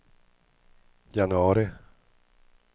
januari